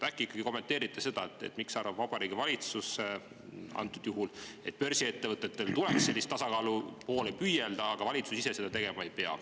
Äkki kommenteerite, miks arvab Vabariigi Valitsus, et börsiettevõtetel tuleks sellise tasakaalu poole püüelda, aga valitsus ise seda tegema ei pea.